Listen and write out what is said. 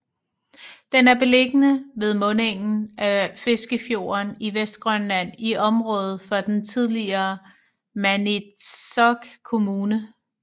Den er beliggende ved mundingen af Fiskefjorden i Vestgrønland i området for den tidligere Maniitsoq Kommune